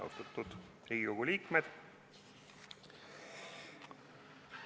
Austatud Riigikogu liikmed!